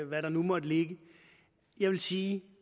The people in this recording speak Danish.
hvad der nu måtte ligge jeg vil sige